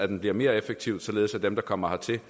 den bliver mere effektiv således at dem der kommer hertil